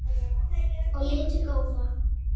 og litu góða.